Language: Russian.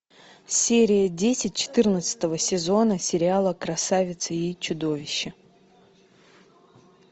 серия десять четырнадцатого сезона сериала красавица и чудовище